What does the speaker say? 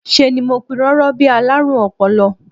Ṣe ni mo pirọrọ bí i alárùn ọpọlọ